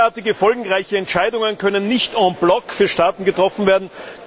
Derartige folgenreiche Entscheidungen können nicht en bloc für Staaten getroffen werden.